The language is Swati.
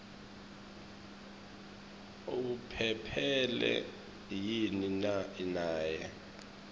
uphephile yini naye